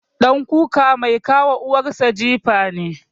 ɗan kuka mai ka wa uwar sa jifa ne.